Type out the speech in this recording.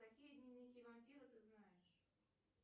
какие дневники вампира ты знаешь